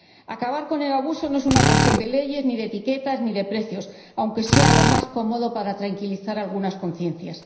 Acabar con el abuso no es una cuestión de leyes, ni de etiquetas, ni de precios, aunque sea lo más cómodo para tranquilizar algunas conciencias.